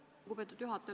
Aitäh, lugupeetud juhataja!